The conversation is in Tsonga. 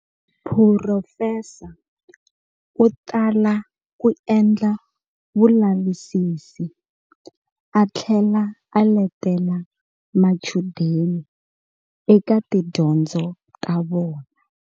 Phurofesa u tala ku endla vulavisisi a thlela a letela machudeni eka tidyondzo ta vona.